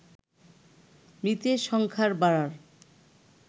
মৃতে সংখ্যার বাড়ার